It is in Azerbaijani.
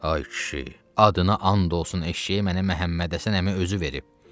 Ay kişi, adına and olsun eşşəyi mənə Məmmədhəsən əmi özü verib.